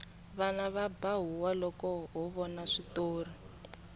vana va ba huwa loko ho vona switori